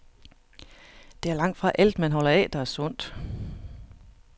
Det er langtfra alt, man holder af, der er sundt.